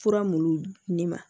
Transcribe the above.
Fura mun di ne ma